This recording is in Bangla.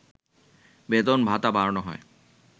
বেতন-ভাতা বাড়ানো হয়